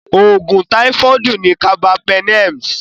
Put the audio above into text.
Òògùn táífọ̀dù ni Carbapenems.